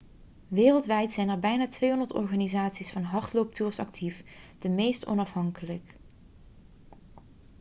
wereldwijd zijn er bijna 200 organisaties voor hardlooptours actief de meeste onafhankelijk